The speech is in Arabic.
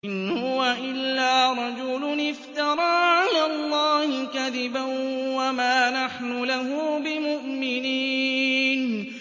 إِنْ هُوَ إِلَّا رَجُلٌ افْتَرَىٰ عَلَى اللَّهِ كَذِبًا وَمَا نَحْنُ لَهُ بِمُؤْمِنِينَ